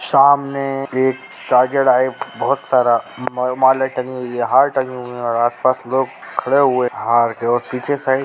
सामने एक ताजिया टाइप बहुत सारा माला टंगी हुई है हार टंगे हुये है और आस-पास लोग खड़े हुये हार के और पीछे साइड --